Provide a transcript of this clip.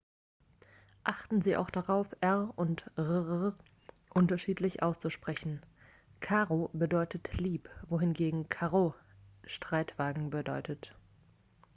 "achten sie auch darauf r und rr unterschiedlich auszusprechen: caro bedeutet "lieb" wohingegen carro "streitwagen" bedeutet.